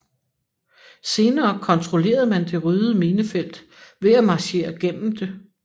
Senere kontrollerede man det ryddede minefelt ved at marchere gennem det